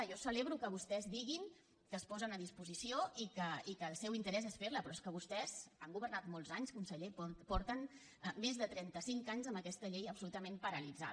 jo celebro que vostès diguin que es posen a disposició i que el seu interès és fer la però és que vostès han governat molts anys conseller porten més de trenta cinc anys amb aquesta llei absolutament paralitzada